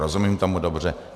Rozumím tomu dobře?